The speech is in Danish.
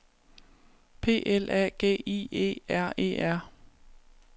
P L A G I E R E R